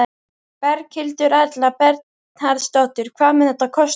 Berghildur Erla Bernharðsdóttir: Hvað mun þetta kosta?